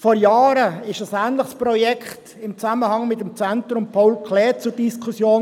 Vor Jahren stand ein ähnliches Projekt im Zusammenhang mit dem Zentrum Paul Klee (ZPK) zur Diskussion.